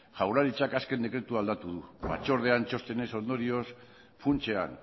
jaurlaritzak azken dekretua aldatu du batzordean txostenez ondorioz funtsean